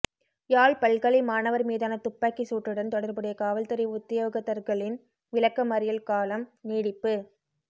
யாழ் பல்கலை மாணவர் மீதான துப்பாக்கிச் சூட்டுடன் தொடர்புடைய காவல்துறை உத்தியோகத்தர்களின் விளக்க மறியல் காலம் நீடிப்பு